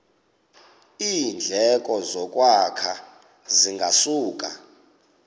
iindleko zokwakha zingasuka